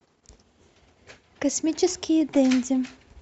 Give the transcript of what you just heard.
космические денди